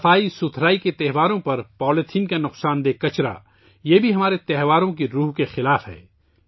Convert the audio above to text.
صفائی کے تہواروں پر پولی تھین کا نقصان دہ فضلہ ہمارے تہواروں کے جذبے کے بھی خلاف ہے